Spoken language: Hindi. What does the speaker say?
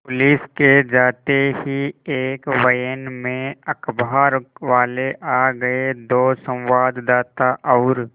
पुलिस के जाते ही एक वैन में अखबारवाले आ गए दो संवाददाता और